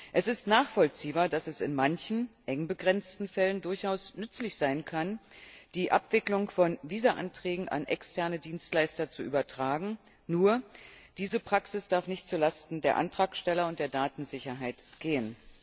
Es ist nachvollziehbar, dass es in manchen, eng begrenzten Fällen durchaus nützlich sein kann, die Abwicklung von Visaanträgen an externe Dienstleister zu übertragen, nur darf diese Praxis nicht zu Lasten der Antragsteller und der Datensicherheit gehen.